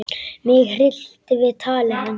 Mig hryllti við tali hans.